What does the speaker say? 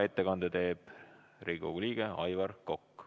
Ettekande teeb Riigikogu liige Aivar Kokk.